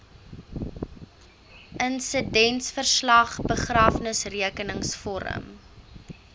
insidentverslag begrafnisrekenings vorm